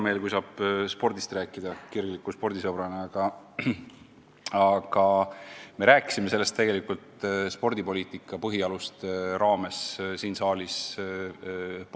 Mul on kirgliku spordisõbrana alati hea meel, kui saab spordist rääkida, aga me rääkisime sellest siin põhjalikult spordipoliitika põhialuste arutamise raames.